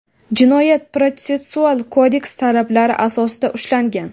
Jinoyat-protsessual kodeks talablari asosida ushlangan.